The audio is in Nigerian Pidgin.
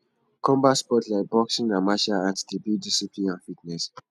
combat sports like boxing and martial arts dey build discipline and fitness